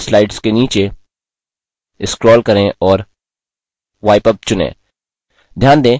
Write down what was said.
apply to selected slides के नीचे scroll करें और wipe up चुनें